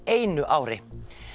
einu ári